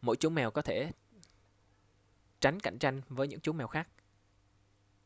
mỗi chú mèo có để tránh cạnh tranh với những chú mèo khác